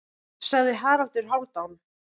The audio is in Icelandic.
sagði Haraldur Hálfdán.